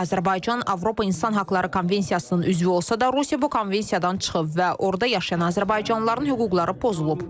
Azərbaycan Avropa İnsan Hüquqları Konvensiyasının üzvü olsa da, Rusiya bu konvensiyadan çıxıb və orda yaşayan azərbaycanlıların hüquqları pozulub.